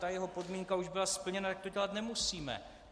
Ta jeho podmínka už byla splněna, tak to dělat nemusíme.